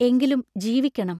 എങ്കിലും ജീവിക്കണം!